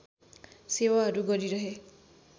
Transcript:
सेवाहरू गरिरहे